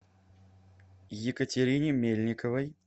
екатерине мельниковой